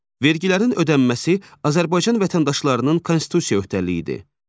Vergilərin ödənməsi Azərbaycan vətəndaşlarının Konstitusiya öhdəliyidir.